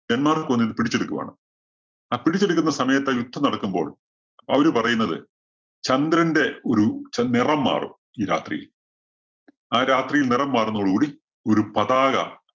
Denmark വന്നിട്ട് പിടിച്ചെടുക്കുവാണ്. ആ പിടിച്ചെടുക്കുന്ന സമയത്തെ യുദ്ധം നടക്കുമ്പോള്‍ അവര് പറയുന്നത് ചന്ദ്രന്റെ ഒരു ച നിറം മാറും ഈ രാത്രിയില്‍. ആ രാത്രി നിറം മാറുന്നതോട് കൂടി ഒരു പതാക